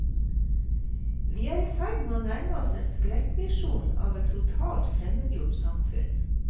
Vi er i ferd med å nærme oss en skrekkvisjon av et totalt fremmedgjort samfunn.